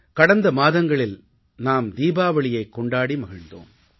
கடந்த மாதங்களில் நாம் தீபாவளியைக் கொண்டாடி மகிழ்ந்தோம்